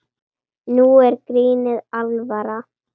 Nú er grínið alvara.